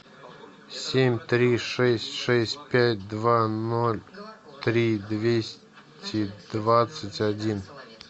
семь три шесть шесть пять два ноль три двести двадцать один